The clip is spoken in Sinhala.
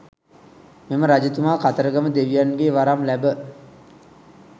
මෙම රජතුමා කතරගම දෙවියන්ගෙන් වරම් ලැබ